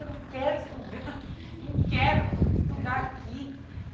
Eu não quero esse lugar, eu não quero estudar aqui.